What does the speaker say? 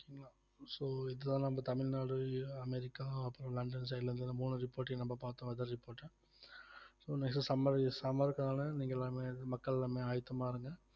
so இதுதான் நம்ம Tamil Nadu America அப்புறம் லண்டன் side ல இருந்து இந்த மூணு report யும் நம்ம பார்த்தோம் weather report ஆ so next summer summer க்கான நீங்க எல்லாமே மக்கள் எல்லாமே ஆயத்தமா இருங்க